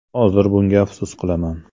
Hozir bunga afsus qilaman.